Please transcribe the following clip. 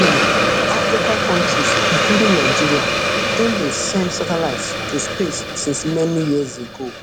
um african kontris including nigeria don dey send satelites to space since many years ago